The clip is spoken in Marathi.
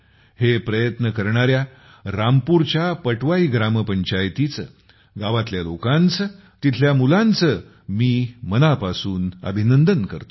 हे प्रयत्न करणाऱ्या रामपूरच्या पटवाई ग्रामपंचायतीचे गावातील लोकांचे तेथील मुलांचे मी मनापासून अभिनंदन करतो